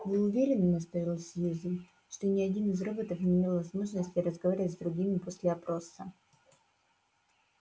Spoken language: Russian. вы уверены настаивала сьюзен что ни один из роботов не имел возможности разговаривать с другими после опроса